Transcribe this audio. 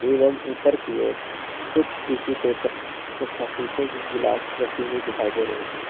एवं ऊपर की ओर कुछ टिशू पेपर तथा शीशे की गिलास रखी हुई दिखाई दे रही है।